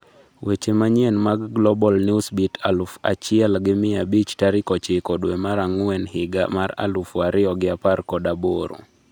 Weche manyien mag Global Newsbeat aluf achiel gi mia abich tarik ochiko dwe mar ang'wen higa mar aluf ariyo gi apar kod aboro